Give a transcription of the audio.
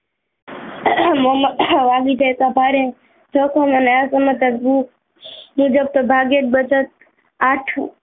મોં માં વાગી જતા ભારે જોખમ અને મુજબ સોભાગ્યત બચત આઠ